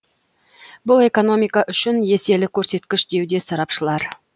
бұл экономика үшін еселі көрсеткіш деуде сарапшылар